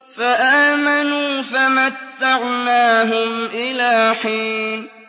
فَآمَنُوا فَمَتَّعْنَاهُمْ إِلَىٰ حِينٍ